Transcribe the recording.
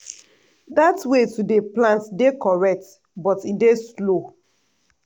dat way to dey plant dey correct but e dey slow.